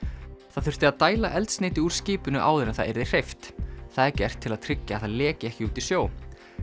það þurfti að dæla eldsneyti úr skipinu áður en það yrði hreyft það er gert til að tryggja að það leki ekki út í sjó